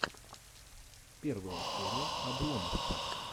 первая серия обломоффа